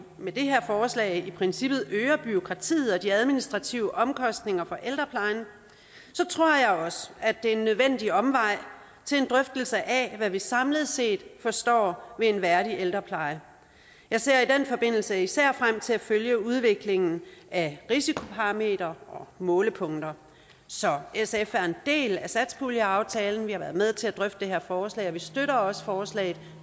med det her forslag i princippet øger bureaukratiet og de administrative omkostninger for ældreplejen tror jeg også at det er en nødvendig omvej til en drøftelse af hvad vi samlet set forstår ved en værdig ældrepleje jeg ser i den forbindelse især frem til at følge udviklingen af risikoparametre og målepunkter så sf er en del af satspuljeaftalen vi har været med til at drøfte det her forslag og vi støtter også forslaget